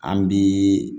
An bi